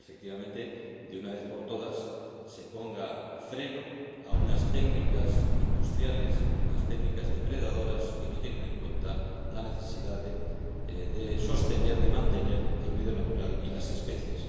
Para que, efectivamente, de una vez por todas, se ponga freno a unas técnicas industriales, unas técnicas depredadoras que no tienen en cuenta la necesidad de sostener, de mantener el medio natural y las especies.